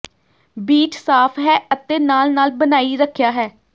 beach ਸਾਫ਼ ਹੈ ਅਤੇ ਨਾਲ ਨਾਲ ਬਣਾਈ ਰੱਖਿਆ ਹੈ